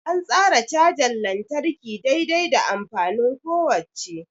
An tsara cajar lantarki dai-dai da amfanin kowacce.